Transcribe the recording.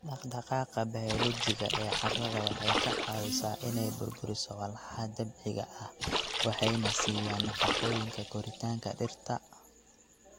Dhaqdhaqaaqa bayoolojiga ee carrada waxay ka caawisaa inay burburiso walxaha dabiiciga ah waxayna siiyaan nafaqooyinka koritaanka dhirta.